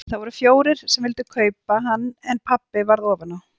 Það voru fjórir sem vildu kaupa hann en pabbi varð ofan á.